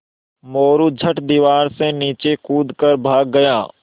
मोरू झट दीवार से नीचे कूद कर भाग गया